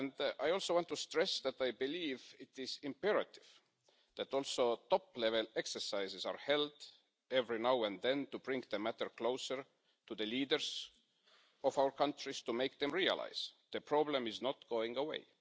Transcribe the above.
I want to stress that I believe it is imperative that top-level exercises are also held every now and then to bring the matter closer to the leaders of our countries to make them realise the problem is not going away.